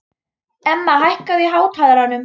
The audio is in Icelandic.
Emma, hækkaðu í hátalaranum.